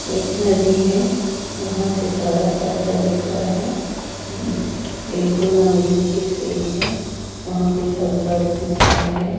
एक नदी है वहां से सारा सब्जा दिख रहा है एक दो नाई भी दिख रही है वहां पे सब्जा दिख रहा है।